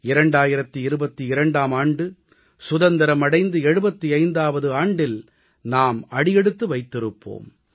2022ஆம் ஆண்டு சுதந்திரம் அடைந்து 75ஆவது ஆண்டில் நாம் அடியெடுத்து வைத்திருப்போம்